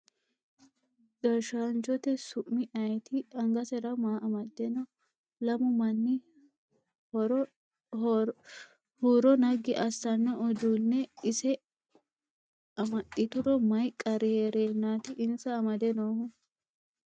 Gashshaanchote su'mi ayeeti? Angasera maa amadde no? Lamu manni huuro naggi assano uduunne ise amaxituro mayii qarri heerennati insa amadde noohu?